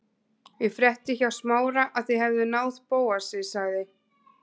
Ég frétti hjá Smára að þið hefðuð náð Bóasi- sagði